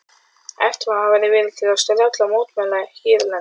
Efnt hafði verið til strjálla mótmæla hérlendis.